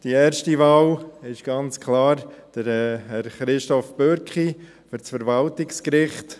Die erste Wahl fällt ganz klar auf Herr Christof Bürki für das Verwaltungsgericht.